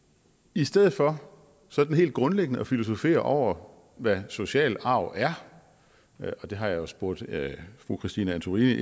i stedet for sådan helt grundlæggende at filosofere over hvad social arv er og det har jeg spurgt fru christine antorini